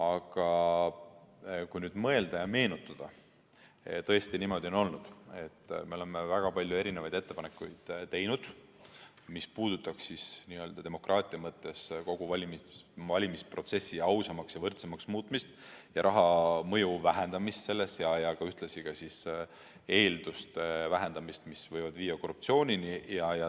Aga kui nüüd mõelda ja meenutada, siis tõesti niimoodi on olnud, et me oleme väga palju erinevaid ettepanekuid teinud, mis puudutab demokraatia mõttes kogu valimisprotsessi ausamaks ja võrdsemaks muutmist ning raha mõju vähendamist selles, ühtlasi eelduste vähendamist, mis võivad viia korruptsioonini.